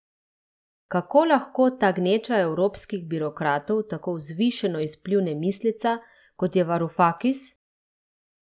Kako lahko ta gneča evropskih birokratov tako vzvišeno izpljune misleca, kot je Varufakis?